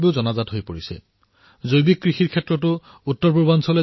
উত্তৰ পূৰ্বাঞ্চল এনে এক ক্ষেত্ৰ যত জৈৱিক কৃষিৰ উত্তৰণ হৈছে